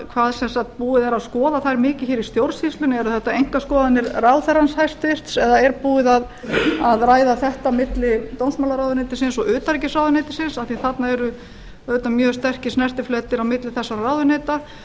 hvað sem sagt búið er að skoða þær mikið hér í stjórnsýslunni eru þetta einkaskoðanir ráðherrans hæstvirtur eða er búið að ræða þetta milli dómsmálaráðuneytisins og utanríkisráðuneytisins af því að þarna eru auðvitað mjög sterkir snertifletir á milli þessara ráðuneyta